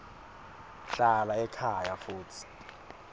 hlala ekhaya futsi